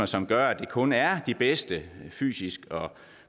som gør at det kun er de bedste fysisk set og